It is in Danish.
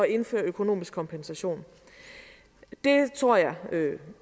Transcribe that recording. indføre økonomisk kompensation det tror jeg